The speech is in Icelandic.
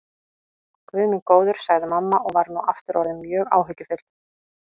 Guð minn góður, sagði mamma og var nú aftur orðin mjög áhyggjufull.